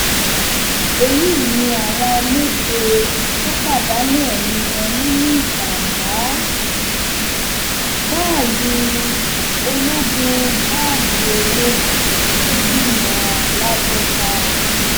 èyí ni àwọn méje tó pàdánù ẹmí wọn nínú ìjàmbá báàlúù ológun báàlúù ológun tó gbiná làbójà